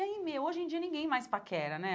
E aí, meu, hoje em dia ninguém mais paquera, né?